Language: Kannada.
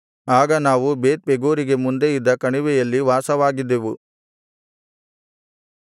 ಆಗ ನಾವು ಬೇತ್‍ಪೆಗೋರಿಗೆ ಮುಂದೆ ಇದ್ದ ಕಣಿವೆಯಲ್ಲಿ ವಾಸವಾಗಿದ್ದೆವು